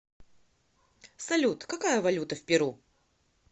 салют какая валюта в перу